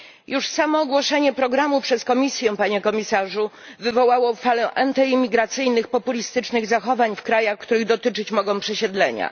Już samo ogłoszenie programu przez Komisję, panie komisarzu, wywołało falę antyimigracyjnych, populistycznych zachowań w krajach, których dotyczyć mogą przesiedlenia.